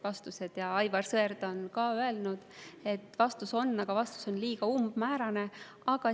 Ka Aivar Sõerd on öelnud, et vastus on, aga vastus on liiga umbmäärane.